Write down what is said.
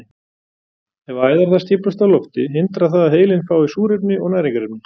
Ef æðar þar stíflast af lofti hindrar það að heilinn fái súrefni og næringarefni.